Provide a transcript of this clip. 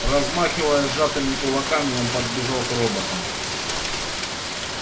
размахивая сжатыми кулаками он подбежал к роботам